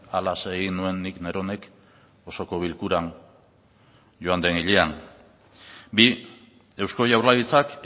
halaxe egin nuen nik neronek osoko bilkuran joan del hilean bi eusko jaurlaritzak